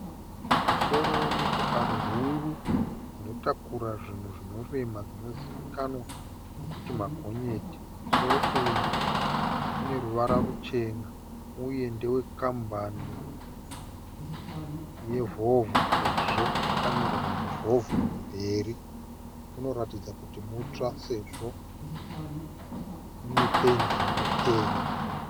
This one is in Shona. Musoro wemotokari huru unotakura zvinhu zvinorema dzinozivikanwa nekuti magonyeti, musoro uyu une ruvara ruchena uye ndewe kampani yevolvo sezvo wakanyorwa kunzi volvo kumberi, rinoratidza kuti mutsva sezvo rine pendi inopenya.